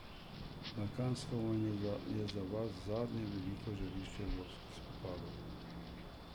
Balkanska vojna je za vas zadnje veliko žarišče evropskih vojn.